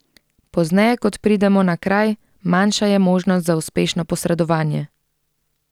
Pozneje kot pridemo na kraj, manjša je možnost za uspešno posredovanje.